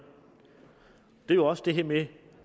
det er jo også det her med